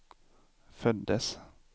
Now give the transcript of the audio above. föddes